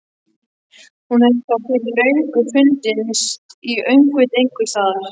Hún hefði þá fyrir löngu fundist í öngviti einhvers staðar.